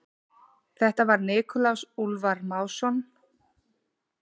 Þetta var Nikulás Úlfar Másson.